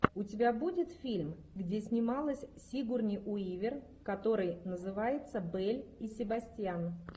у тебя будет фильм где снималась сигурни уивер который называется белль и себастьян